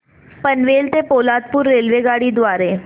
पनवेल ते पोलादपूर रेल्वेगाडी द्वारे